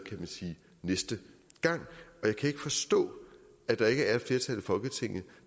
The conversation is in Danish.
næste gang jeg kan ikke forstå at der ikke er et flertal i folketinget